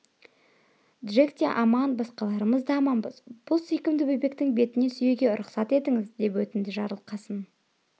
джек те аман басқаларымыз да аманбыз бұл сүйкімді бөбектің бетінен сүюге рұқсат етіңіз деп өтінді жарылқасын